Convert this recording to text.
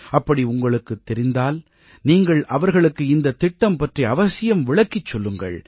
அப்படி உங்களுக்குத் தெரிந்தால் நீங்கள் அவர்களுக்கு இந்தத்திட்டம் பற்றி அவசியம் விளக்கிச் சொல்லுங்கள்